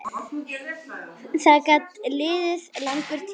Það gat liðið langur tími.